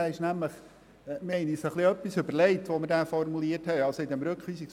Wir haben uns bei dessen Formulierung einiges überlegt.